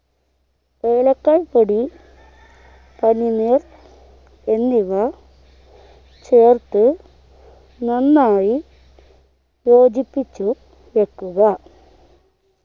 ഏലക്കായി പൊടി പനിനീർ എന്നിവ ചേർത്ത് നന്നായി യോജിപ്പിച്ചു വെക്കുക